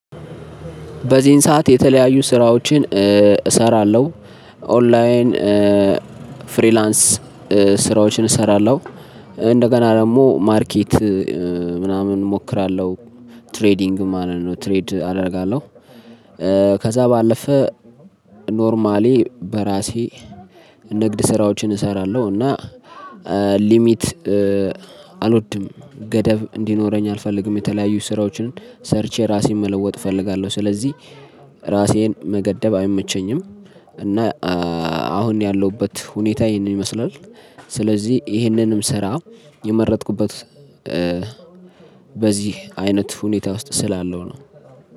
በዚህን ሰዓት የተለያዩ ስራዎችን እሰራለሁ ኦላይን ፍሪላንስ ስራዎችን እሰራለሁ እንደገና ደሞ ማርኬት ምናምን እሞክራለሁ ትሬዲንግ ማለት ነው ትሬድ አደርጋለሁ። ከዛ ባለፈ ኖርማሊ በራሴ ንግድ ስራዎችን እሰራለሁ። እና ሊሚት አልወድም ገደብ እንዲኖረኝ አልፈልግም የተለያዩ ስራዎችን ሰርቼ ራሴን መለወጥ እፈልጋለሁ። ስለዚህ ራሴን መገደብ አይመቸኝም። እና አሁን ያለሁበት ሁኔታ ይሄንን ይመስላል። ስለዚህ ይሄንንም ስራ የመረጥኩበት በዚህ አይነት ሁኔታ ውስጥ ስላለው ነው።